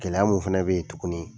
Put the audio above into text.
Gɛlɛya mun fana bɛ yen tuguni